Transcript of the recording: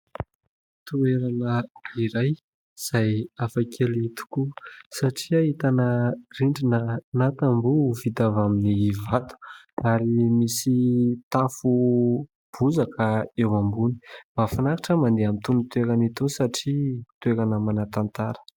Toerana iray izay hafa kely tokoa satria ahitana rindrina na tamboho vita avy amin'ny vato ary misy tafo bozaka eo ambony. Mahafinaritra mandeha amin'itony toerana itony satria toerana manatantara.